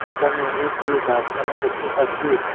এখানে অনেকগুলো গাসপালা দেখতে পাচ্ছি।